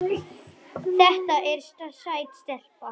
Þetta er sæt stelpa.